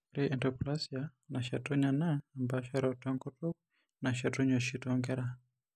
Ore endysplasia nashetunye naa empaasharoto enkutuk nashetunye oshi toonkera.